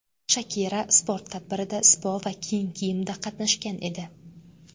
Shakira sport tadbirida sipo va keng kiyimda qatnashgan edi.